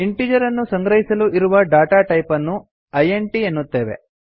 integer ಅನ್ನು ಸಂಗ್ರಹಿಸಲು ಇರುವ ಡಾಟಾ ಟೈಪ್ ಅನ್ನು ಇಂಟ್ ಎನ್ನುತ್ತೇವೆ